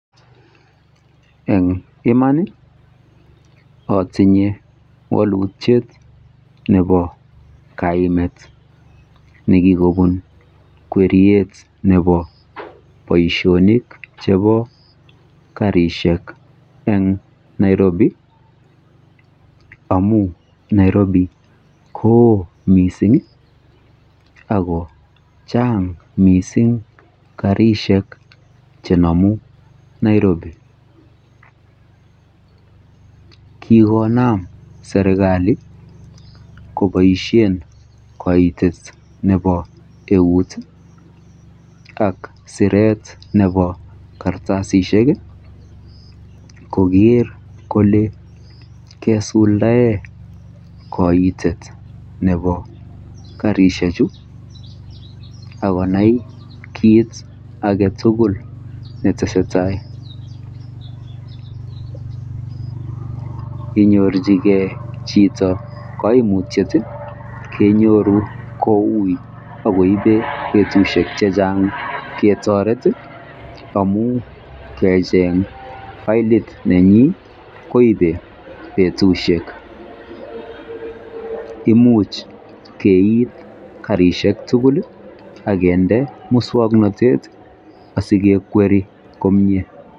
en iman iih, otinye wolutyeet nebo kaimet negigobuun kweryeet nebo boishonik chebo karishek en Nairobi amun Nairobi koo mising iih ago channg misiing karishek chenomu Nairobi, kigonaam serkali koboishe koitet nebo euut ak sereet nebo kartasishek iih kogeer kole kesuldaee koitet nebo karishek chu agonai kiit agetugul netesetai, inyorchigee chito koimutyeet iih kenyoru kouii ak koiben betushek chechang ketoret iih amuun kecheeng olyet nenyin koibe betushek, imuch keiit karishek tugul iih ak kinde muswoknotet asigekweri komyee.